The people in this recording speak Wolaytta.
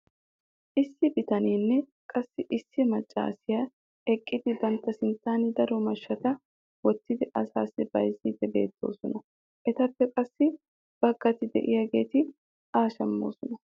issi bitaneenne qassi issi macaassiya eqqidi bantta sinttan daro mashshata wottidi asaassi bayzziidi beetoosona. etappe qassi baggati diyaageeti a shammoosona.